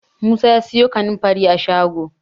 Musa ya siyo kanin fari a shago